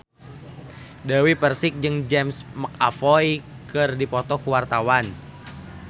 Dewi Persik jeung James McAvoy keur dipoto ku wartawan